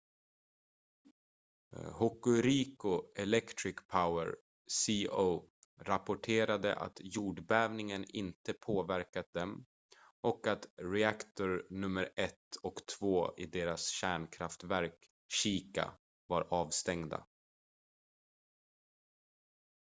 hokuriku electric power co rapporterade att jordbävningen inte påverkat dem och att reaktor nummer 1 och 2 i deras kärnkraftverk shika var avstängda